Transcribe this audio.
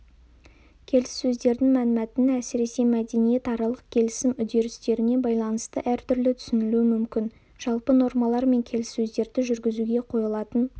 келіссөздердің мәнмәтіні әсіресе мәдениетаралық келісім үдерістеріне байланысты әртүрлі түсінілуі мүмкін жалпы нормалар мен келіссөздерді жүргізуге қойылатын